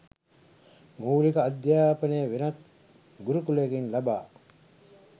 මූලික අධ්‍යාපනය වෙනත් ගුරුකුලයකින් ලබා